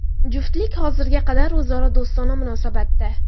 Juftlik hozirga qadar o‘zaro do‘stona munosabatda.